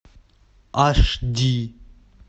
аш ди